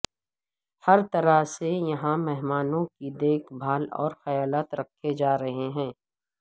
ہر طرح سے یہاں مہمانوں کی دیکھ بھال و خیالات رکھے جارہے ہیں